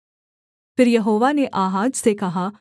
फिर यहोवा ने आहाज से कहा